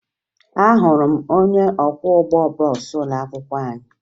Ahụrụ m onye ọkwọụgbọ bọọsụ ụlọakwụkwọ anyị